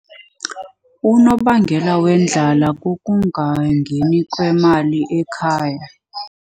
Unobangela wendlala kukungangeni kwemali ekhaya.